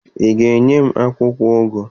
Ị ga-enye m akwụkwọ ụgụ?